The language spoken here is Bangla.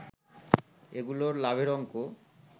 এগুলোর লাভের অঙ্ক